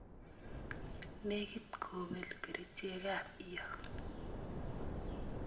nekit kobel kerichek ab iyo.